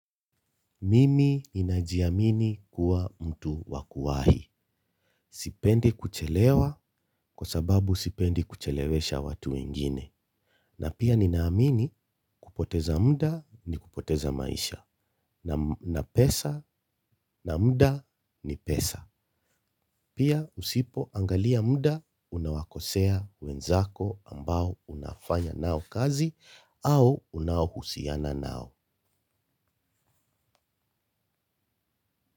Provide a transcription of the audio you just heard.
Mimi ninajiamini kuwa mtu wa kuwahi. Sipendi kuchelewa kwa sababu sipendi kuchelewesha watu wengine. Na pia ninaamini kupoteza muda ni kupoteza maisha na pesa na muda ni pesa. Pia usipo angalia muda unawakosea wenzako ambao unafanya nao kazi au unaohusiana nao.